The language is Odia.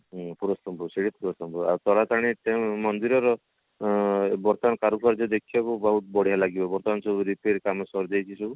ହୁଁ ପୁରସ୍ତମପୁର ସେଇଟା ପୁରସ୍ତମପୁର ତାସାଙ୍ଗେ ମନ୍ଦିର ର ଆଁ ବର୍ତମାନ କାରୁକାର୍ଯ୍ୟ ଦେଖିବାକୁ ବହୁତ ବଢିଆ ଲାଗିବ ବର୍ତମାନ ସବୁ repair କାମ ସରିଯାଇଛି ସବୁ